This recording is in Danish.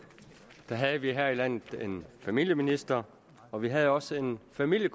havde vi her i landet en familieminister og vi havde også en familie